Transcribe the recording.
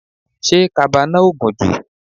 Ṣé kaba náà ò gùn jù?